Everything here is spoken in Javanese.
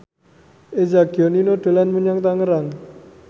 Eza Gionino dolan menyang Tangerang